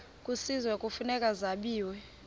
kwisizwe kufuneka zabiwe